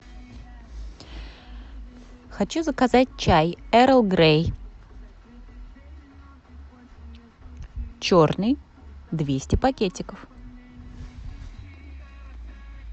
хочу заказать чай эрл грей черный двести пакетиков